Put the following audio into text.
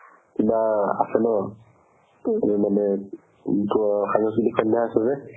কিবা আছে ন মানে সাংস্কৃতিক সন্ধ্যা আছে যে